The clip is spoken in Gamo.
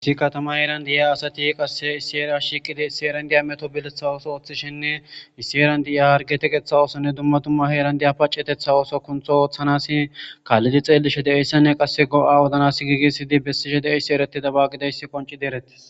issi katama heeran diya asati qasse issieria shiiqidi issieran diya meto biletha ooso ooththishinne issieeran di7a hargeteqeththa oosonne dumma tumma heeran diya pacetetha oso kuntho ooththanasi kaallidi xeellishe deeyssanne qasse go7a wodanas giigisidi bessishe de7eyssi ereti da baaqideyssi qonci dereti